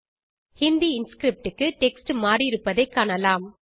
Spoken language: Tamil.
ஹிந்தி இன்ஸ்கிரிப்ட் க்கு டெக்ஸ்ட் மாறியிருப்பதைக் காணலாம்